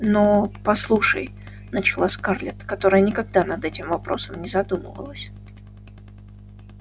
но послушай начала скарлетт которая никогда над этим вопросом не задумывалась